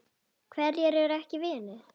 Hverjir eru ekki vinir?